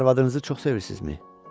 Arvadınızı çox sevirsizmi?